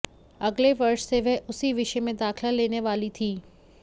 अगले वर्ष से वह उसी विषय में दाखिला लेने वाली थी